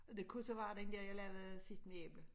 Og det kunne så være den der jeg lavede sidst med æble